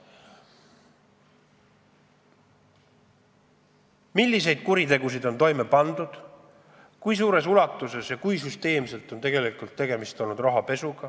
Milliseid kuritegusid on toime pandud, kui suures ulatuses ja kui süsteemselt on tegeldud rahapesuga?